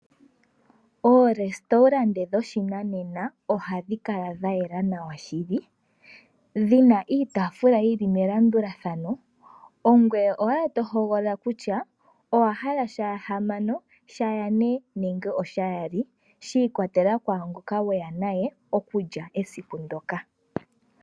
Oorestaurante dhoshinanena, oha dhi kala dha yela nawa shili, dhi na iitaafula yil li melandulathano, ongweye owala to hogolola kutya, owa hala shahamano, shayane nenge oshayaali, shi ikwatelela kwaangoka we ya naye, okukya esiku ndoka.